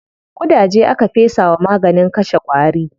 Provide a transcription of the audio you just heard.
Ƙudaje aka fesa wa maganin kashe ƙwari.